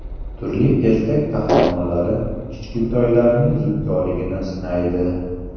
Turli ertak qahramonlari kichkintoylarning zukkoligini sinaydi.